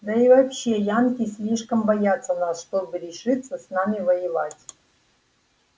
да и вообще янки слишком боятся нас чтобы решиться с нами воевать